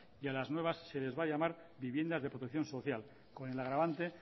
y a las nuevas se les va a llamar viviendas de protección social con el agravante